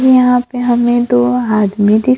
यहां पे हमें दो आदमी दि--